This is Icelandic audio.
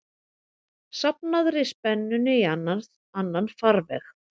safnaðri spennunni í annan farveg.